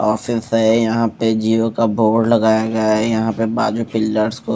office है यहां पे जिओ का बोर्ड लगाया गया है यहां पे बाजू पिलर्स को--